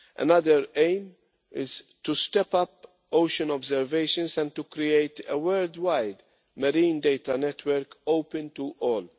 Another aim is to step up ocean observations and to create a worldwide marine data network which is open to all.